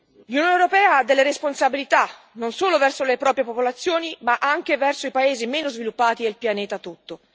L'Unione europea ha delle responsabilità non solo verso le proprie popolazioni ma anche verso i paesi meno sviluppati del pianeta tutto.